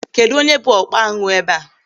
Kedụ onye bụ ọkpa añụ ebe a?